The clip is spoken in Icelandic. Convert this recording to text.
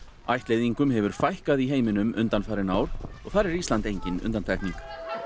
ættleiðingum hefur fækkað í heiminum undanfarin ár og þar er Ísland engin undantekning